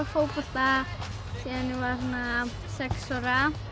fótbolta síðan ég var sex ára